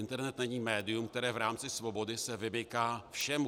Internet není médium, které v rámci svobody se vymyká všemu.